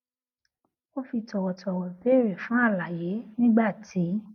ó fi tòwòtòwò béèrè fún àlàyé nígbà tí